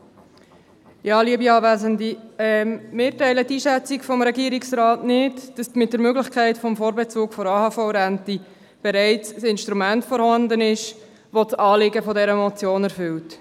Wir teilen die Einschätzung des Regierungsrats nicht, dass mit der Möglichkeit des Vorbezugs der AHV-Rente bereits ein Instrument vorhanden ist, welches das Anliegen der Motion erfüllt.